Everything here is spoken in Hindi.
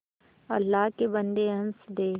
अल्लाह के बन्दे हंस दे